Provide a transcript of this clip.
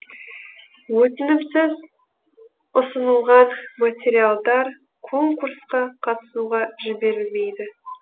өтінімсіз ұсынылған материалдар конкурсқа қатысуға жіберілмейді